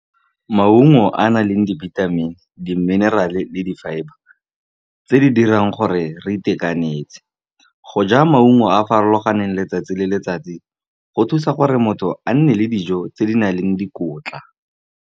Maungo a a nang le dibithamini, le di-mineral-e, le di-fibre, tse di dirang gore re itekanetse. Go ja maungo a a farologaneng letsatsi le letsatsi go thusa gore motho a nne le dijo tse di nang le dikotla.